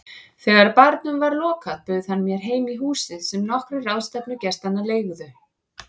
Þegar barnum var lokað bauð hann mér heim í húsið sem nokkrir ráðstefnugestanna leigðu.